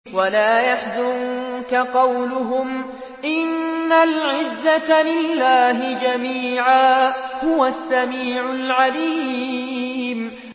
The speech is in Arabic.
وَلَا يَحْزُنكَ قَوْلُهُمْ ۘ إِنَّ الْعِزَّةَ لِلَّهِ جَمِيعًا ۚ هُوَ السَّمِيعُ الْعَلِيمُ